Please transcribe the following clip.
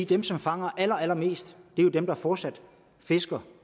dem som fanger allerallermest jo er dem der fortsat fisker